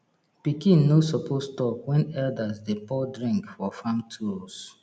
pikin no suppose talk when elders dey pour drink for farm tools